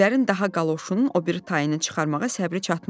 Güllərin daha qaloşunun o biri tayını çıxarmağa səbri çatmadı.